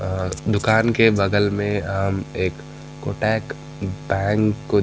अ दुकान के बगल में अम्म एक कोटेक बैंक को --